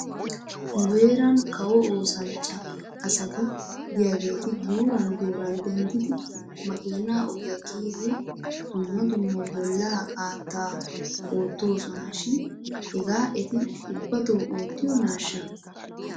Nu heeran kawo oosanchcha asati de'iyaageeti guuran guuran denddidi makiina ogiyaa kiyidi dumma dumma bollaa qaattaa oottoosona shin hegaa eti ubbato oottiyoonaashsha?